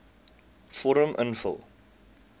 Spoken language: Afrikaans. vorm invul